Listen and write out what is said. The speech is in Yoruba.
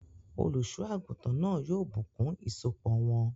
Olùsọ́àgùntàn náà yóò bùnkún ìsopọ̀ wọn